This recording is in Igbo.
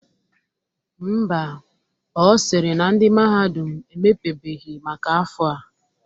Ḿbà, Ọ sịrị na ndị mahadum emepebeghi maka afọ a.